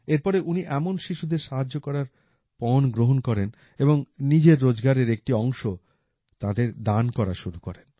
এরপরে উনি এমন শিশুদের সাহায্য করার পণ গ্রহণ করেন এবং নিজের রোজগারের একটি অংশ তাঁদের দান করা শুরু করেন